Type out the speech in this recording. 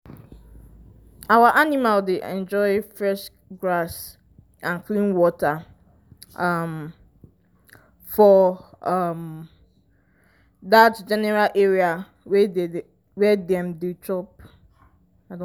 our animal dey enjoy fresh grass and clean water um for um that general area wey dem dey chop